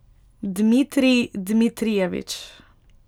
Dmitrij Dmitrijevič.